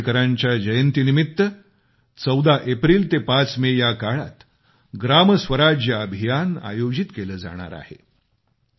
डॉ आंबेडकरांच्या जयंतीनिमित्त 14 एप्रिल ते 5 मे याकाळात ग्रामस्वराज्य अभियान आयोजित केलं जाणार आहे